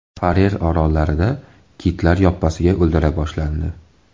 Farer orollarida kitlar yoppasiga o‘ldirila boshlandi.